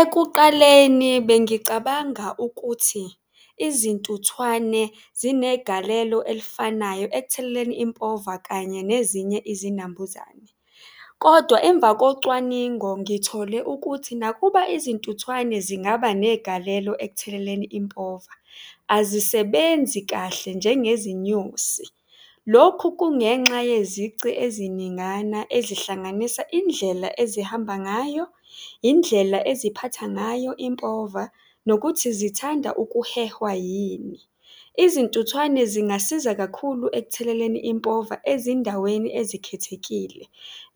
Ekuqaleni bengicabanga ukuthi izintuthwane zinegalelo elifanayo ekutheleleni impova kanye nezinye izinambuzane kodwa emva kocwaningo, ngithole ukuthi nakuba izintuthwane zingaba negalelo ekutheleleni impova, azisebenzi kahle njengezinyosi. Lokhu kungenxa yezici eziningana ezihlanganisa indlela ezihamba ngayo, yindlela eziphatha ngayo impova nokuthi zithanda ukuhehwa yini. Izintuthwane zingasiza kakhulu ekutheleleni impova ezindaweni ezikhethekile